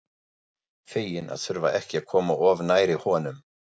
Fegin að þurfa ekki að koma of nærri honum.